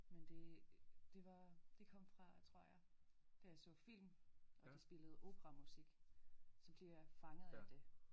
Men det det var det kom fra tror jeg da jeg så film og de spillede opera musik så bliver jeg fanget af det